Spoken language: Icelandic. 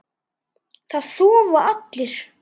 Það sofa allir.